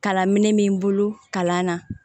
Kala minɛn b'i bolo kalan na